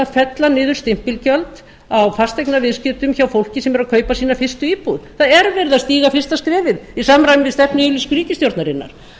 að fella niðurstimpilgjöld á fasteignaviðskiptum hjá fólki sem er að kaupa sína fyrstu íbúð það er verið að stíga fyrsta skrefið í samræmi við stefnuyfirlýsingu ríkisstjórnarinnar